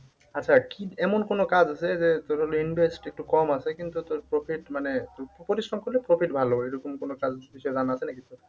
আচ্ছা কি এমন কোন কাজ আছে যে তোর হলো invest একটু কম আছে কিন্তু তোর profit মানে একটু পরিশ্রম করলে profit ভালো এইরকম কোন কাজ এর বিষয়ে জানা আছে নাকি তোর?